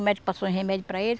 O médico passou o remédio para ele.